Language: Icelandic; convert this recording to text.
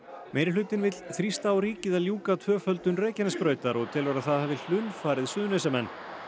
meirihlutinn vill þrýsta á ríkið að ljúka tvöföldun Reykjanesbrautar og telur að það hafi hlunnfarið Suðurnesjamenn